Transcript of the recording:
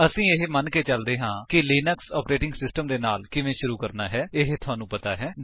ਅਸੀ ਇਹ ਮੰਨ ਕੇ ਚੱਲਦੇ ਹਾਂ ਕਿ ਲਿਨਕਸ ਆਪਰੇਟਿੰਗ ਸਿਸਟਮ ਦੇ ਨਾਲ ਕਿਵੇਂ ਸ਼ੁਰੂ ਕਰਨਾ ਹੈ ਇਹ ਤੁਹਾਨੂੰ ਪਤਾ ਹੈ